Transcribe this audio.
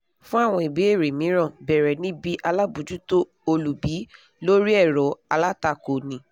fun àwọn ìbéèrè míràn bère níbi alábòjútó olùbi lórí ẹ̀rọ alátakò ní